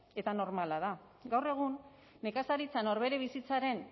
eta normala da gaur egun nekazaritza norbere bizitzaren